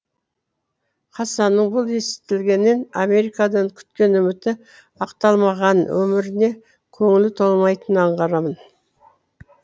хасанның бұл естілгенінен америкадан күткен үміті ақталмағанын өміріне көңілі толмайтынын аңғарамын